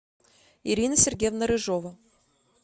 ирина сергеевна рыжова